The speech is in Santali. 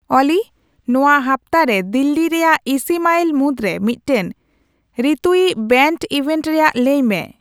ᱚᱞᱤ ᱱᱚᱶᱟ ᱦᱟᱯᱛᱟ ᱨᱮ ᱫᱤᱞᱞᱤ ᱨᱮᱭᱟᱜ ᱤᱥᱤ ᱢᱟᱭᱤᱞ ᱢᱩᱫᱨᱮ ᱢᱤᱫᱴᱟᱝ ᱨᱤᱛᱩᱭᱤᱡ ᱵᱮᱹᱱᱰ ᱤᱵᱷᱮᱱᱴ ᱨᱮᱭᱟᱜ ᱞᱟᱹᱭ ᱢᱮ